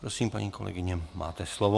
Prosím, paní kolegyně, máte slovo.